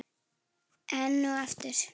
Enn og aftur.